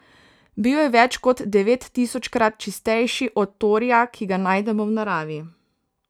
Bil je več kot devettisočkrat čistejši od torija, ki ga najdemo v naravi.